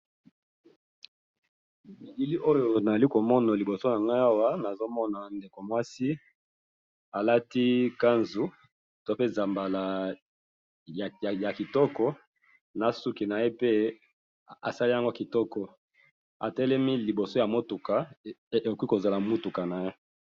Bilili oyo nali komona liboso na nga awa nazo mona ndeko mwasi alati kanzu to pe zambala ya kitoko na suki na ye pe asali yango kitoko, atelemi liboso ya motuka ekoki kozala motuka na ye.